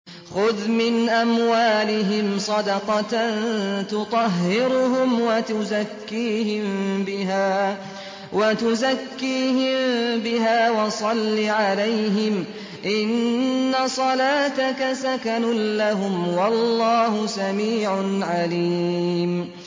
خُذْ مِنْ أَمْوَالِهِمْ صَدَقَةً تُطَهِّرُهُمْ وَتُزَكِّيهِم بِهَا وَصَلِّ عَلَيْهِمْ ۖ إِنَّ صَلَاتَكَ سَكَنٌ لَّهُمْ ۗ وَاللَّهُ سَمِيعٌ عَلِيمٌ